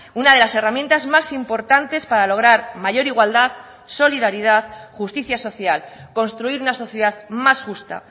una de las herramientas más importantes para lograr mayor igualdad solidaridad justicia social construir una sociedad más justa